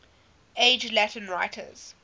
age latin writers